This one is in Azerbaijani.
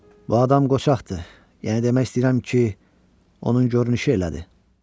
Bu adam qoçaqdır, yəni demək istəyirəm ki, onun görünüşü elədir.